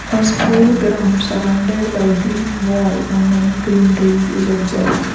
A school ground surrounded by green wall and many green trees is observed.